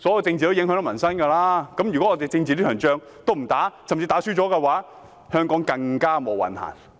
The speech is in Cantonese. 政治與民生息息相關，如果我們連政治這場戰爭也不打，甚至打輸了，香港便更"無運行"。